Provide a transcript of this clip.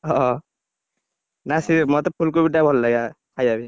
ହଁ ନା ସିଏ ମତେ ଫୁଲକୋବିଟା ଭଲ ଲାଗେ, ଖାଇବା ପାଇଁ।